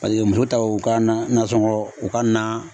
Paseke muso taw ka nasɔngɔ u ka na.